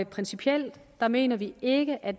principielt mener vi ikke at